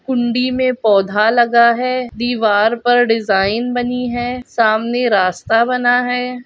कुंडी मे पौधा लगा है दीवार पर डिजाइन बनी है सामने रास्ता बना है।